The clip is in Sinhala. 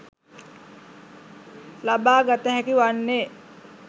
ලබා ගත හැකි වන්නේ